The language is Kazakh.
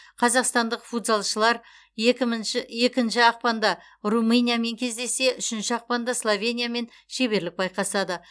қазақстандық футзалшылар екінші ақпанда румыниямен кездессе үшінші ақпанда словениямен шеберлік байқасады